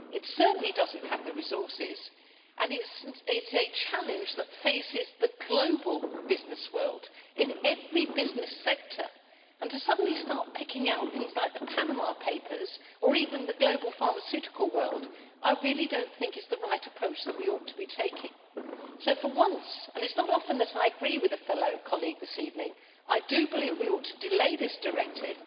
It certainly does not have the resources, and it is a challenge that faces the global business world in every business sector. To suddenly start picking out things like the Panama Papers, or even the global pharmaceutical world, I really do not think is the right approach and one that we ought to be taking. So for once and it is not often that I am in agreement with a fellow colleague this evening I do believe we ought to delay this directive.